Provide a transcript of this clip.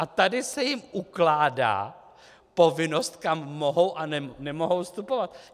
A tady se jim ukládá povinnost, kam mohou a nemohou vstupovat.